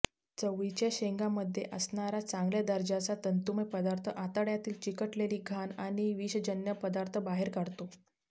चवळीच्या शेंगांमध्ये असणारा चांगल्या दर्जाचा तंतूमय पदार्थ आतड्यातील चिकटलेली घाण आणि विषजन्य पदार्थ बाहेर काढतो